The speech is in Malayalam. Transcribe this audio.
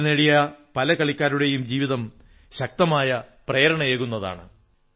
മെഡൽ നേടിയ പല കളിക്കാരുടെയും ജീവിതം ശക്തമായ പ്രേരണയേകുന്നതാണ്